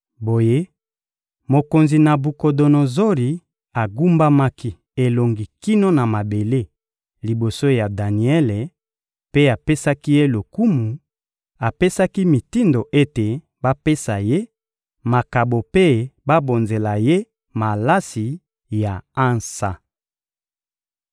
Boye, mokonzi Nabukodonozori agumbamaki elongi kino na mabele, liboso ya Daniele, mpe apesaki ye lokumu; apesaki mitindo ete bapesa ye makabo mpe babonzela ye malasi ya ansa.